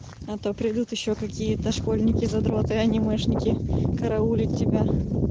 а то придут ещё какие-то школьники задроты анимешники караулить тебя